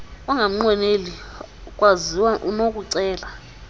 onganqweneli kwaziwa unokucela